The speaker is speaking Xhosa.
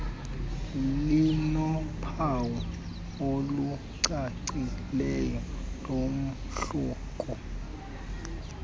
linophawu olucacileyo lomahluko